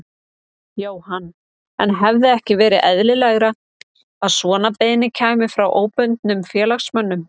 Jóhann: En hefði ekki verið eðlilegra að svona beiðni kæmi frá óbundnum félagsmönnum?